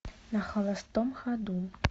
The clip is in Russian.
на холостом ходу